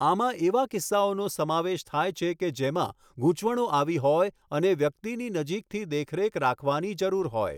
આમાં એવા કિસ્સાઓનો સમાવેશ થાય છે કે જેમાં ગૂંચવણો આવી હોય અને વ્યક્તિની નજીકથી દેખરેખ રાખવાની જરૂર હોય.